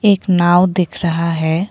एक नाव दिख रहा है।